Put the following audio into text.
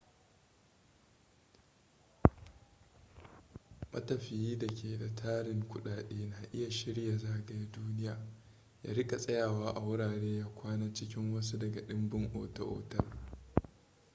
matafiyi da ke da tarin kudade na iya shirya zagaya duniya ya rika tsayawa a wurare ya kwana cikin wasu daga dimbin ota-otal